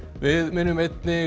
við minnum einnig